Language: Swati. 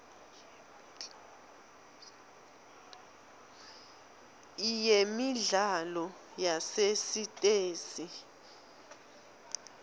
iyemidlalo yasesitesi